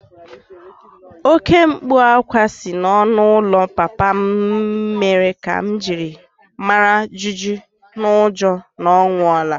Oké mkpu ákwá si n'ọnụ ụlọ papa m mere ka m mara jijiji n'ụjọ na ọ nwụọla